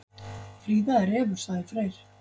Fríða er refur, sagði Freyr.